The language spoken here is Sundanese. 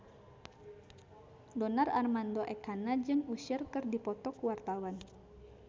Donar Armando Ekana jeung Usher keur dipoto ku wartawan